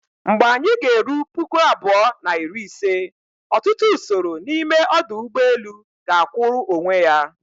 Mgbe anyị g'eru puku abụọ na iri ise, ọtụtụ usoro n'ime ọdụ ụgbọ elu ga-akwụụrụ onwe ya